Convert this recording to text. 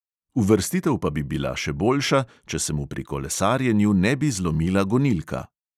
Uvrstitev pa bi bila še boljša, če se mu pri kolesarjenju ne bi zlomila gonilka.